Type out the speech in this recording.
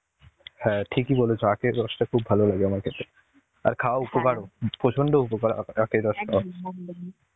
হ্যাঁ ঠিকই বলেছ আখের রসটা খুব ভালো লাগে আমার খেতে আর খাওয়া উপকারও প্রচন্ড উপকার আখের রস টা.